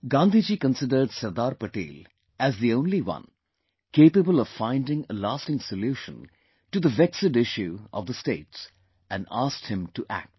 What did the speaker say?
Gandhiji considered Sardar Patel as the only one capable of finding a lasting solution to the vexed issue of the states and asked him to act